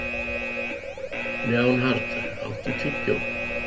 Leonhard, áttu tyggjó?